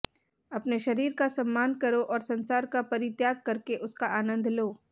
अपने शरीर का सम्मान करो और संसार का परित्याग करके उसका आनंद लो